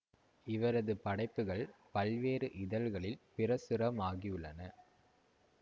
இவரது படைப்புகள் பல்வேறு இதழ்களில் பிரசுரமாகியுள்ளன